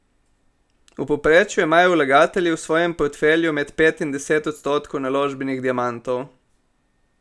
V povprečju imajo vlagatelji v svojem portfelju med pet in deset odstotkov naložbenih diamantov.